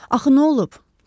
Axı nə olub?